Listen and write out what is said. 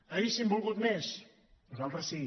hauríem volgut més nosaltres sí